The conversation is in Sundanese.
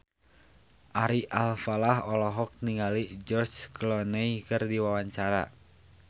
Ari Alfalah olohok ningali George Clooney keur diwawancara